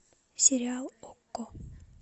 сериал окко